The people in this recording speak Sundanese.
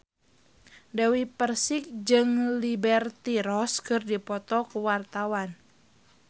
Dewi Persik jeung Liberty Ross keur dipoto ku wartawan